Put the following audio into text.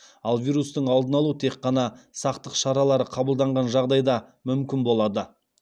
ал вирустың алдын алу тек қана сақтық шаралары қабылданған жағдайда мүмкін болады